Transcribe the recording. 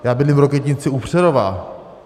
Já bydlím v Rokytnici u Přerova.